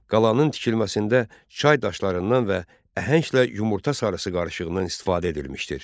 Qalanın tikilməsində çay daşlarından və əhənglə yumurta sarısı qarışığından istifadə edilmişdir.